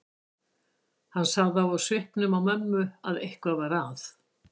Hann sá það á svipnum á mömmu að eitthvað var að.